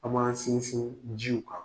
An man sinsin jiw kan.